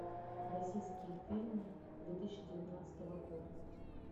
российские фильмы две тысячи девятнадцатого года